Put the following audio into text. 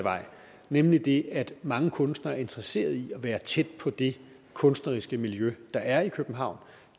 nemlig at mange kunstnere er interesserede i at være tæt på de kunstneriske miljøer der er i københavn